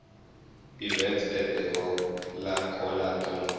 events at the colacola dome